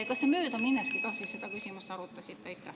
Kas te möödaminneski seda küsimust arutasite?